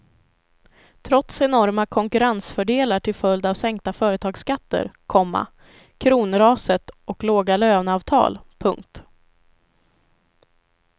Trots enorma konkurrensfördelar till följd av sänkta företagsskatter, komma kronraset och låga löneavtal. punkt